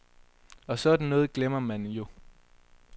Og sådan noget glemmer man jo.